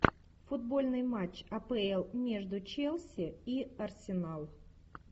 футбольный матч апл между челси и арсенал